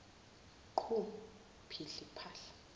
qhu phihli phahla